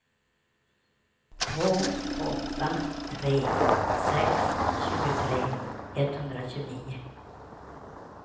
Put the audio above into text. två åtta tre sex tjugotre etthundratjugonio